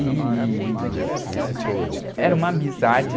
E, era uma amizade.